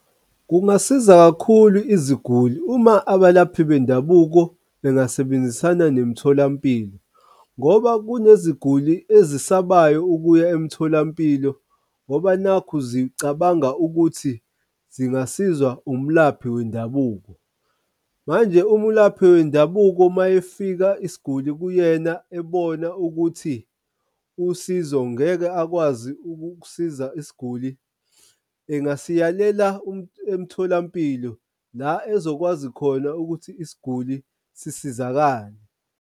Kungasiza kakhulu iziguli uma abalaphi bendabuko bengasebenzisana nemitholampilo ngoba kuneziguli ezisabayo ukuya emtholampilo ngoba nakhu zicabanga ukuthi zingasiza umlaphi wendabuko. Manje umulaphi wendabuko uma efika isiguli kuyena ebona ukuthi usizo ngeke akwazi ukuksiza isiguli engasiyalela emtholampilo la ezokwazi khona ukuthi isiguli sisizakale.